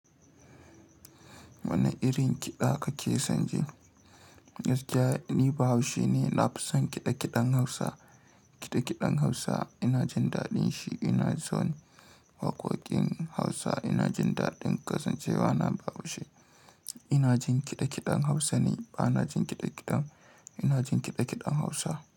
Wane irin kiɗa kake son ji? Gaskiya ni Bahaushe ne, na fi son kiɗe-kiɗen Hausa. Kiɗe-kiɗen Hausa ina jin daɗin shi, ina son waƙoƙin Hausa, ina jin daɗin kasancewa na Bahaushe. Ina jin kiɗe-kiɗen Hausa ne, ba na jin kiɗe-kiɗen Ina jin kiɗe-kiɗen Hausa.